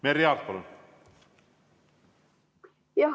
Merry Aart, palun!